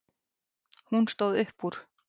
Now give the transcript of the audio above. Hún stóð upp úr.